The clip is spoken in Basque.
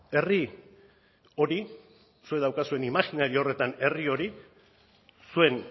herri hori zuek daukazuen imajinario horretan herri hori zuen